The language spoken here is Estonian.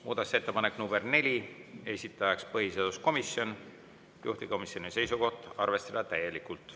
Muudatusettepanek nr 4, esitaja põhiseaduskomisjon, juhtivkomisjoni seisukoht: arvestada täielikult.